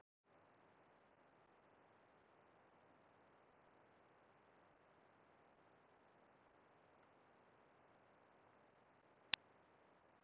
Einnig hafa veðurfarsbreytingar og aukin tíðni hitabylgja á meginlandi Spánar haft skelfilegar afleiðingar fyrir froskdýr.